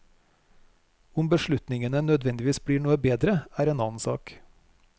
Om beslutningene nødvendigvis blir noe bedre er en annen sak.